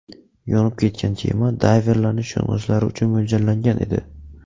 Yonib ketgan kema dayverlarning sho‘ng‘ishlari uchun mo‘ljallangan edi.